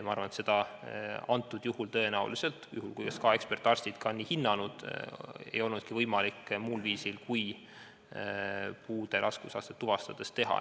Ma arvan, et seda antud juhul tõenäoliselt – juhul, kui SKA ekspertarstid on nii hinnanud – ei olnudki võimalik muul viisil kui puude raskusastet tuvastades teha.